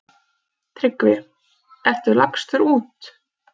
TRYGGVI: Ertu lagstur út?